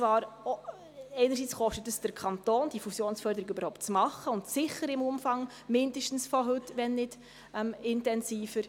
Einerseits kostet es den Kanton, diese Fusionsförderung überhaupt zu machen, und zwar sicher im heutigen Umfang, wenn nicht intensiver.